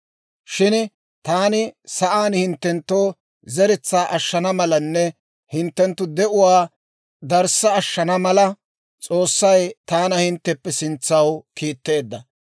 Shin taani sa'aan hinttenttoo zeretsaa ashshana malanne hinttenttu de'uwaa darissa ashshana mala, S'oossay taana hintteppe sintsaw kiitteedda.